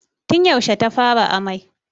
Tun yaushe ta fara amai?